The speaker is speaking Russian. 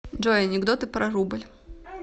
джой анекдоты про рубль